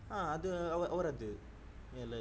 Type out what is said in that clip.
ಹ ಅದು ಅವರ ಅವರದ್ದು ಎಲ್ಲಾ ಇದೆ.